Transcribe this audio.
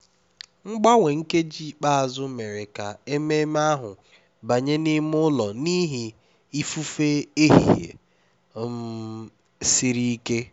mgbanwe nkeji ikpeazụ mere ka ememe ahụ banye n'ime ụlọ n'ihi ifufe ehihie um siri ike